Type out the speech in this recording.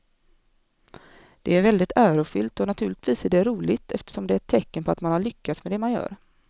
Det är väldigt ärofyllt och naturligtvis är det roligt eftersom det är ett tecken på att man har lyckats med det man gör.